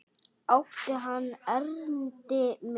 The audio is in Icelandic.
Átti hann erindi við mig?